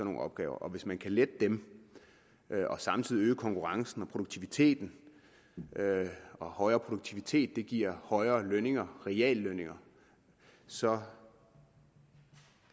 nogle opgaver og hvis man kan lette dem og samtidig øge konkurrencen og produktiviteten og højere produktivitet giver højere reallønninger reallønninger så